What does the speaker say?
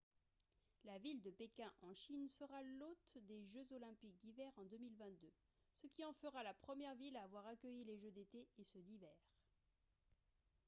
la ville de pékin en chine sera l'hôte des jeux olympiques d'hiver en 2022 ce qui en fera la première ville à avoir accueilli les jeux d'été et ceux d'hiver